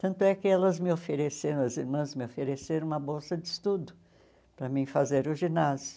Tanto é que elas me ofereceram, as irmãs me ofereceram uma bolsa de estudo para mim fazer o ginásio.